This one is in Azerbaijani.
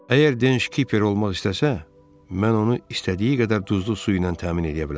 Əgər Denz kipper olmaq istəsə, mən onu istədiyi qədər duzlu su ilə təmin eləyə bilərəm.